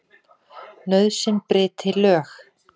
Nauðsyn bryti lög.